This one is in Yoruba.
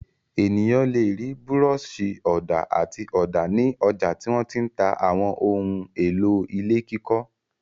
Ènìyàn le rí búrọ́ṣì-ọ̀dà àti ọ̀dà ní ọjà tí wọ́n ti ń ta àwọn ohun-èlò ilé kíkọ́.